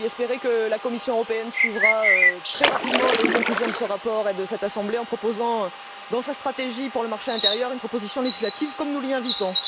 J'espère que la Commission européenne suivra très rapidement les conclusions de ce rapport et de cette assemblée en présentant, dans sa stratégie pour le marché intérieur, une proposition législative, comme nous l'y invitons.